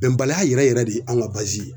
Bɛnbaliya yɛrɛ yɛrɛ de an ka ye